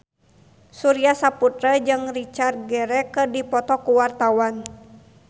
Surya Saputra jeung Richard Gere keur dipoto ku wartawan